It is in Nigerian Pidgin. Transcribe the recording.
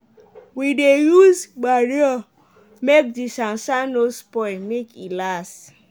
we dey use manure make the sansan no spoil make e last.